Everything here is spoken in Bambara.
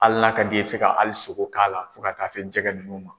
Hali n'a ka d'i ye i bɛ se ka hali sogo k'a la fo ka taa se jɛgɛ ninnu ma.